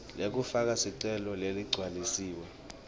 lekufaka sicelo leligcwalisiwe